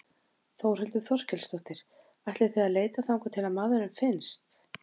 Þórhildur Þorkelsdóttir: Ætlið þið að leita þangað til að maðurinn finnst?